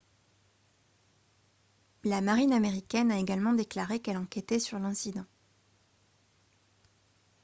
la marine américaine a également déclaré qu'elle enquêtait sur l'incident